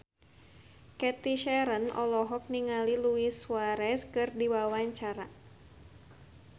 Cathy Sharon olohok ningali Luis Suarez keur diwawancara